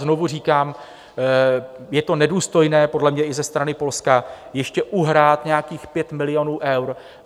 Znovu říkám, je to nedůstojné podle mě i ze strany Polska ještě uhrát nějakých 5 milionů eur.